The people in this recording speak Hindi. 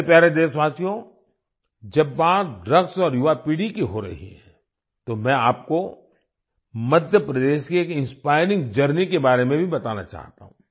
मेरे प्यारे देशवासियो जब बात ड्रग्स और युवापीढ़ी की हो रही है तो मैं आपको मध्य प्रदेश की एक इंस्पायरिंगजर्नी के बारे में भी बताना चाहता हूँ